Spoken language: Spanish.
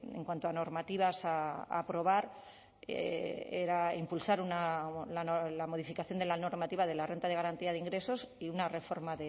en cuanto a normativas a aprobar era impulsar la modificación de la normativa de la renta de garantía de ingresos y una reforma